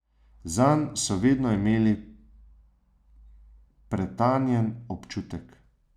Zanj so vedno imeli pretanjen občutek.